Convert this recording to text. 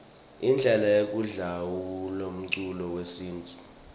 indlele yekudlalaumculo wesintfu